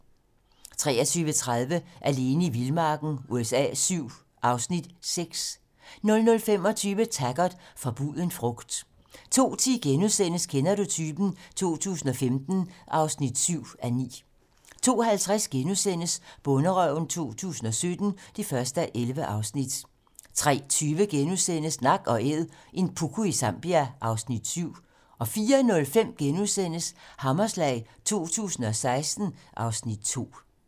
23:30: Alene i vildmarken USA VII (Afs. 6) 00:25: Taggart: Forbuden frugt 02:10: Kender du typen? 2015 (7:9)* 02:50: Bonderøven 2017 (1:11)* 03:20: Nak & æd - en puku i Zambia (Afs. 7)* 04:05: Hammerslag 2016 (Afs. 2)*